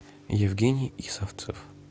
евгений исовцев